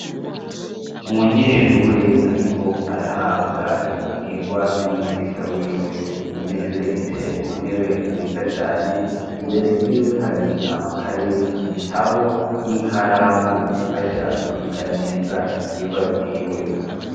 Umunyeshure ariko arahabwa ivyigwa n'umwigisha wiwe umunyeshure yicaye ku ntebe nziza cane imbere yiwe hari amakaye ibitabo n'ikaramu bimufasha kwiga neza ivyigwa vyiwe.